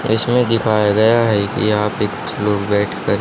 इसमें दिखाया गया है कि यहां पे कुछ लोग बैठकर--